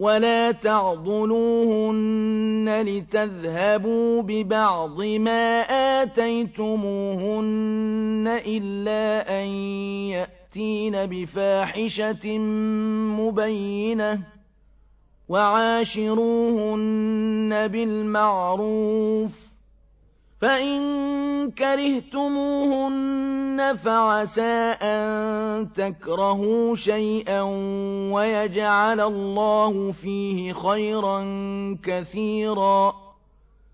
وَلَا تَعْضُلُوهُنَّ لِتَذْهَبُوا بِبَعْضِ مَا آتَيْتُمُوهُنَّ إِلَّا أَن يَأْتِينَ بِفَاحِشَةٍ مُّبَيِّنَةٍ ۚ وَعَاشِرُوهُنَّ بِالْمَعْرُوفِ ۚ فَإِن كَرِهْتُمُوهُنَّ فَعَسَىٰ أَن تَكْرَهُوا شَيْئًا وَيَجْعَلَ اللَّهُ فِيهِ خَيْرًا كَثِيرًا